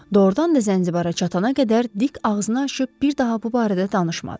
Doğrudan da Zənzibara çatana qədər dik ağzını açıb bir daha bu barədə danışmadı.